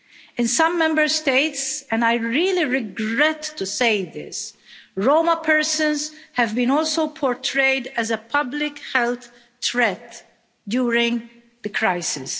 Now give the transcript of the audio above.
In some Member States, and I really regret to say, Roma persons have also been portrayed as a public health threat during the crisis.